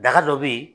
Daga dɔ bɛ ye